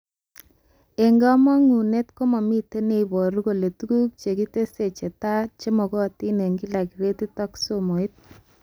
Eng kamangunet komamite neiboru kole tuguk chekitesyi chetaa chemagatin eng kila gratit ak somoit